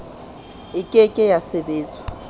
e ke ke ya sebetswa